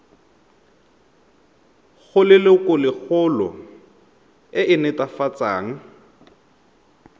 go lelokolegolo e e netefatsang